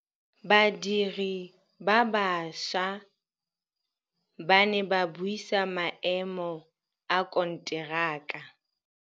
Badiri ba baša ba ne ba buisa maêmô a konteraka.